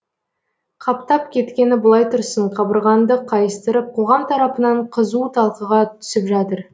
қаптап кеткені былай тұрсын қабырғаңды қайыстырып қоғам тарапынан қызу талқыға түсіп жатыр